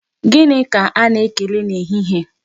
Gịnị ka a na-ekele na ehihie?